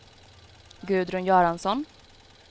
Gudrun Göransson